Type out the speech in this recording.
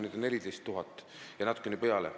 Neid on 14 000 ja natuke peale.